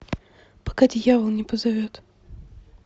пока дьявол не позовет